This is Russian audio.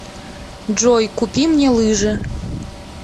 джой купи мне лыжи